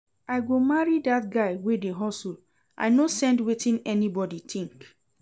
I go marry dat guy wey dey hustle, I no send wetin anybodi tink.